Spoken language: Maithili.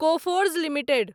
Coforge limited